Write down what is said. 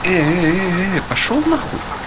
эээ пошёл нахуй